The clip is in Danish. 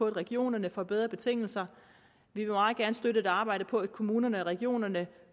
regionerne får bedre betingelser vi vil meget gerne støtte og arbejde for at kommunerne og regionerne